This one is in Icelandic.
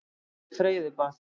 Að fara í freyðibað.